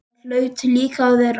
Það hlaut líka að vera.